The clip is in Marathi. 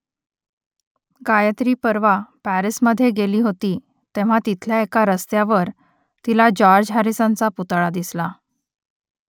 गायत्री परवा पॅरिसमध्ये गेली होती तेव्हा तिथल्या एका रस्त्यावर तिला जॉर्ज हॅरिसनचा पुतळा दिसला